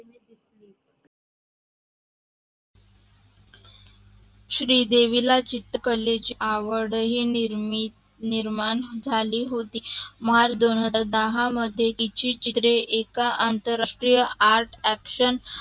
श्रीदेवीला चित्रकलेची आवडही निर्माण झाली होती मार्च दोनहजार दहा मध्ये तिचे चित्रे एका अतंरराष्टीय आर्ट ॲक्शन